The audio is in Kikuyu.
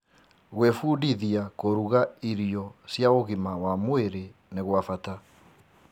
Gwĩbundithia kũruga irio cia ũgima wa mwĩrĩ nĩ gwa bata.